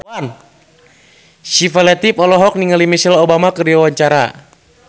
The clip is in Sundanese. Syifa Latief olohok ningali Michelle Obama keur diwawancara